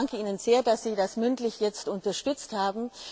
Ich danke Ihnen sehr, dass Sie das mündlich jetzt unterstützt haben.